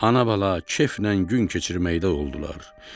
Ana-bala keyflə gün keçirməkdə oldular.